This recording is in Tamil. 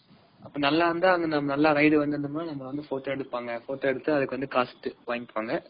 நல்லா இருந்தா நல்லா ride வந்துருந்தோம்னா நம்மல வந்து photo எடுப்பாங்க. photo எடுத்து அதுக்கு வந்து காசு வாங்கிக்குவாங்க.